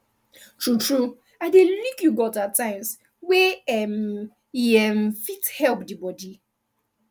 true true i dey lick yogurt at times wey um e um fit help the body